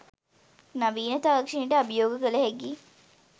නවීන තාක්ෂණයට අභියෝග කළ හැකි